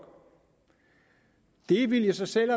det ville i sig selv